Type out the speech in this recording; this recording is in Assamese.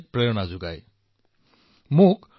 সকলোৱে একত্ৰিত হৈ তেওঁলোকৰ কৰ্তব্য পালন কৰিছে